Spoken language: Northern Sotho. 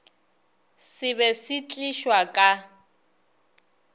se be se tlišwa ka